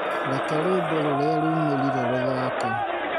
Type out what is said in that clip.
Reke rwĩmbo ruria rũmĩrĩire ruthake